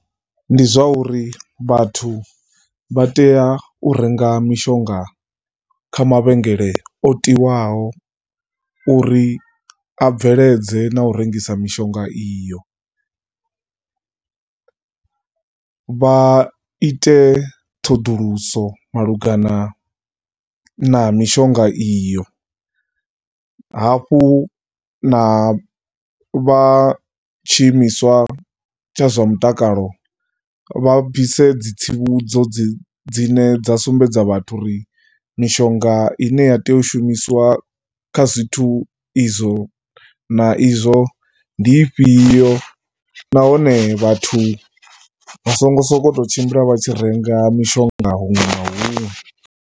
Ndi zwa uri vhathu vha tea u renga mishonga kha mavhengele o tiwaho uri a bveledze na u rengisa mishonga iyo. Vha ite ṱhoḓulusiso malugana na mishonga iyo. Hafhu na vha tshiimiswa tsha zwa mutakalo vha bvise dzi tsivhudzo dzi, dzine dza sumbedza vhathu uri mishonga i ne ya tea u shumisiwa kha zwithu izwo na izwo ndi ifhio nahone vhathu vha songo sokou tshimbila vha tshi renga mishonga huṅwe na huṅwe.